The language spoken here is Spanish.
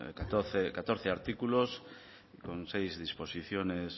catorce artículos con seis disposiciones